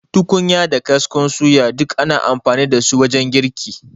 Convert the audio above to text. Tukunya da kaskon suya, duk ana amfani da su wajen girki.